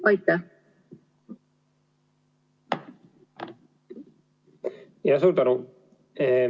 Suur tänu!